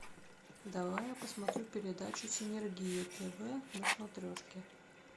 давай я посмотрю передачу синергия тв на смотрешке